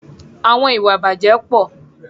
Àwọn ìwà ìbàjẹ́ pọ̀.